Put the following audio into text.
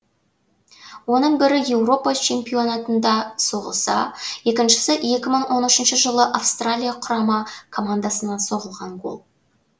оның бірі еуропа чемпионатында соғылса екіншісі екі мың он үшінші жылы австралия құрама командасына соғылған гол